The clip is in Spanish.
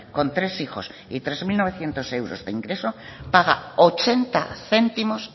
con tres hijos y tres mil novecientos euros de ingresos paga ochenta céntimos